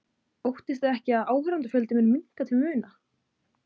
Óttist þið ekki að áskrifendafjöldi muni minnka til muna?